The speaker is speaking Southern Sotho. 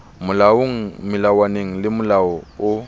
molaong melawaneng le molaong o